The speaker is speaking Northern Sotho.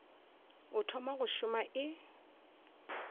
o thoma go šoma e